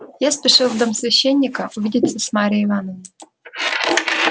я спешил в дом священника увидеться с марьей ивановной